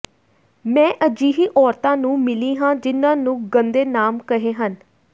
ਮੈਂ ਅਜਿਹੀ ਔਰਤਾਂ ਨੂੰ ਮਿਲੀ ਹਾਂ ਜਿਨ੍ਹਾਂ ਨੂੰ ਗੰਦੇ ਨਾਮ ਕਹੇ ਹਨ